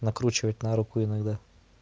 накручивать на руку иногда